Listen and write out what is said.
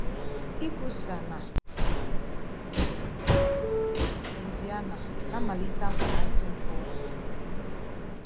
Ịkwusa na Louisiana na mmalite afọ 1940.